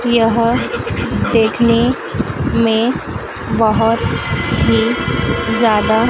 यह देखने में बहुत ही ज्यादा--